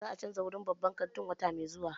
Za a canza wurin babban kantin wata mai zuwa.